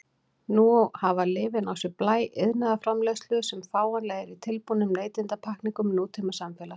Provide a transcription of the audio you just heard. Nú hafa lyfin á sér blæ iðnaðarframleiðslu sem fáanleg er í tilbúnum neytendapakkningum nútímasamfélags.